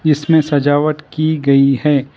इसमें सजावट की गई है।